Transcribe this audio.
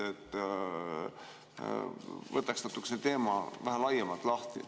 Võtaks natuke laiemalt selle teema lahti.